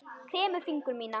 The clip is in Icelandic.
Kremur fingur mína.